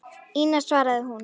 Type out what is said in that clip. Ína, svaraði hún.